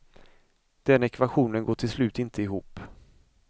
Den ekvationen går till slut inte ihop.